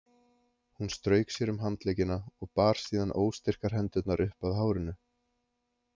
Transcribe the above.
Hún strauk sér um handleggina og bar síðan óstyrkar hendurnar upp að hárinu.